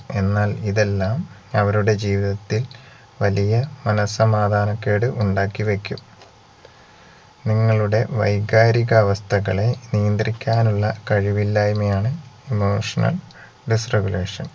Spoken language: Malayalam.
എന്നാൽ ഇതെല്ലാം അവരുടെ ജീവിതത്തിൽ വലിയ മനഃസമാദാനക്കേട് ഉണ്ടാക്കിവെക്കും നിങ്ങളുടെ വൈകാരിക അവസ്ഥകളെ നിയന്ത്രിക്കാനുള്ള കഴിവില്ലായ്മയാണ് emotional disregulation